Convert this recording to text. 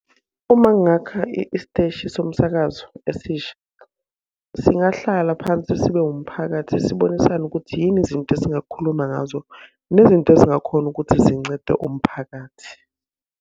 Uma ngingakha isiteshi somsakazo esisha, singahlala phansi sibe wumphakathi sibonisane ukuthi yini izinto esingakhuluma ngazo nezinto ezingakhona ukuthi zincede umphakathi.